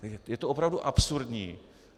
Je to opravdu absurdní.